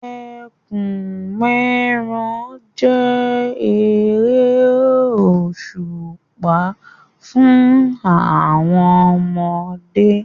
Ẹkùn-mẹ́ran jẹ́ eré òṣùpá fún àwọn ọmọdé.